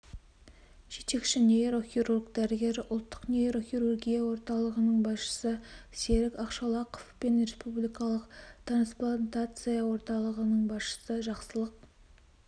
жетекші нейрохирург дәрігері ұлттық нейрохирургия орталығының басшысы серік ақшолақов пен республикалық трансплантация орталығының басшысы жақсылық